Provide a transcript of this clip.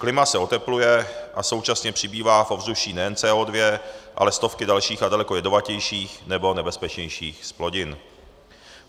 Klima se otepluje a současně přibývá v ovzduší nejen CO2, ale stovky dalších a daleko jedovatějších nebo nebezpečnějších zplodin.